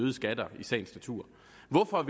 og